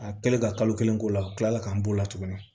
A kɛlen ka kalo kelen k'o la kila k'an b'o la tuguni